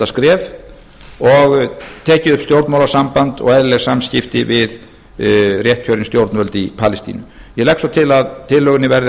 skref og tekið upp stjórnmálasamband og eðlileg samskipti við réttkjörin stjórnvöld í palestínu ég legg svo til að tillögunni beri að